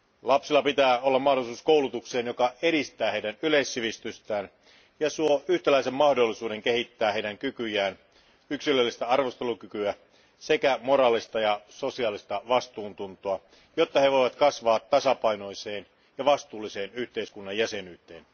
Lapsilla pitää olla mahdollisuus koulutukseen, joka edistää heidän yleissivistystään ja suo yhtäläisen mahdollisuuden kehittää heidän kykyjään yksilöllistä arvostelukykyä sekä moraalista ja sosiaalista vastuuntuntoa, jotta he voivat kasvaa tasapainoiseen ja vastuulliseen yhteiskunnan jäsenyyteen.